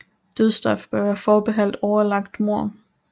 Dødsstraf bør være forbeholdt overlagt mord